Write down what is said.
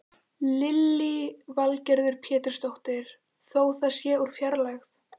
Lillý Valgerður Pétursdóttir: Þó það sé úr fjarlægð?